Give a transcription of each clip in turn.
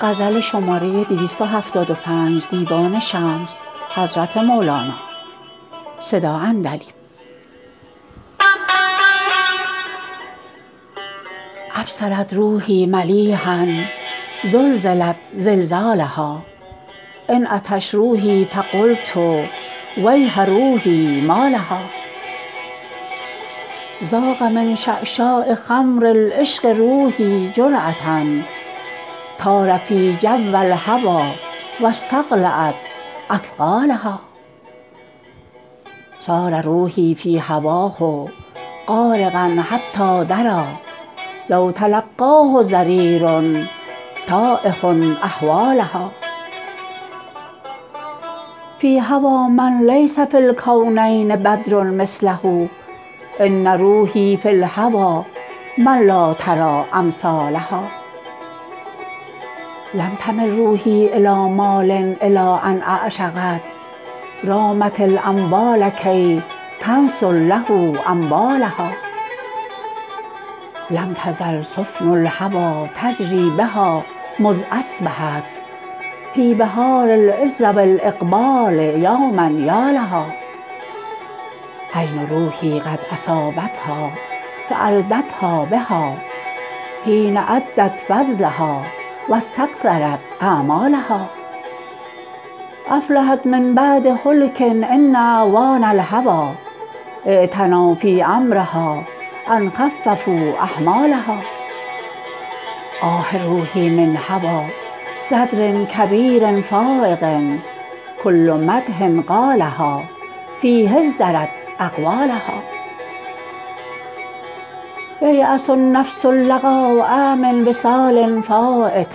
ابصرت روحی ملیحا زلزلت زلزالها انعطش روحی فقلت ویح روحی مالها ذاق من شعشاع خمر العشق روحی جرعه طار فی جو الهوی و استقلعت اثقالها صار روحی فی هواه غارقا حتی دری لو تلقاه ضریر تایه احوالها فی الهوی من لیس فی الکونین بدر مثله ان روحی فی الهوی من لا تری امثالها لم تمل روحی الی مال الی ان اعشقت رامت الاموال کی تنثر له اموالها لم تزل سفن الهوی تجری بها مذ اصبحت فی بحار العز و الاقبال یوما یالها عین روحی قد اصابتها فاردتها بها حین عدت فضلها و استکثرت اعمالها افلحت من بعد هلک ان اعوان الهوی اعتنوا فی امرها ان خففوا حمالها آه روحی من هوی صدر کبیر فایق کل مدح قالها فیه ازدرت اقوالها ییاس النفس اللقاء من وصال فایت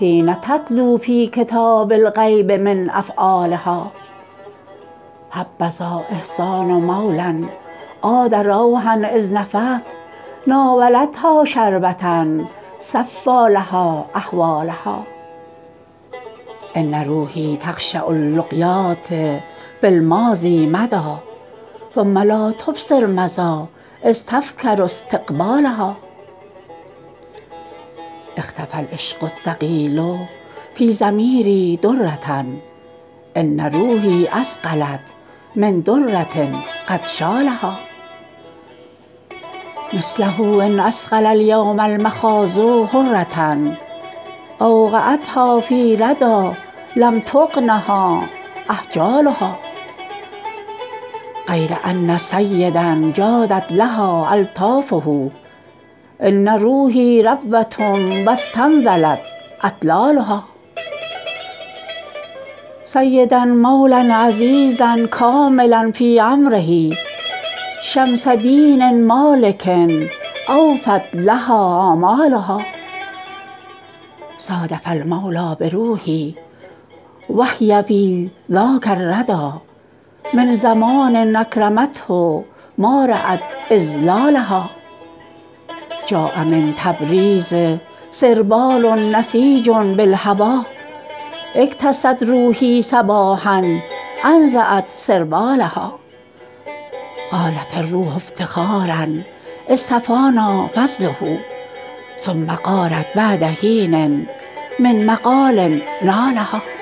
حین تتلو فی کتاب الغیب من افعالها حبذا احسان مولی عاد روحا اذ نفث ناولتها شربه صفی لها احوالها ان روحی تقشع اللقیات فی الماضی مدا ثم لا تبصر مضی اذ تفکر استقبالها اختفی العشق الثقیل فی ضمیری دره ان روحی اثقلت من دره قد شالها مثله ان اثقل الیوم المخاض حره اوقعتها فی ردی لم تغنها احجالها غیر ان سیدا جادت لها الطافه ان روحی ربوه و استنزلت اطلالها سیدا مولی عزیزا کاملا فی امره شمس دین مالک اوفت لها آمالها صادف المولی بروحی و هی فی ذاک الردی من زمان اکرمته ما رات اذلالها جاء من تبریز سربال نسیج بالهوی اکتست روحی صباحا انزعت سربالها قالت الروح افتخارا اصطفانا فضله ثم غارت بعد حین من مقال نالها